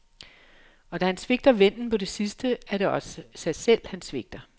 Og da han svigter vennen på det sidste, er det også sig selv, han svigter.